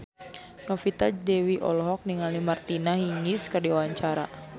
Novita Dewi olohok ningali Martina Hingis keur diwawancara